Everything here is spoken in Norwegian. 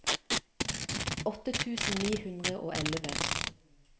åtte tusen ni hundre og elleve